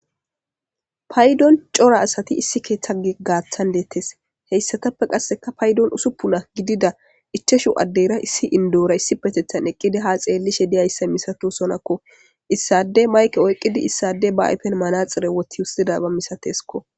Paydon cora asati issi keeththa giggaaththan deettes heyssatappe qasseka paydon usuppuna gidida icheshu addeyra issi indoora issi petethan eqqidi ha xeellishe diyayssa misato sonakko issade mayke oyqqidi issade ba ayfen manaxire woti wussida ba misateskko